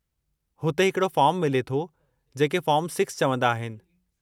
हुते हिकिड़ो फ़ॉर्मु मिले थो जेके फ़ॉर्मु 6 चवंदा आहिनि।